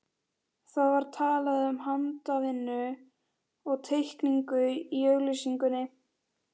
Það var talað um handavinnu og teikningu í auglýsingunni.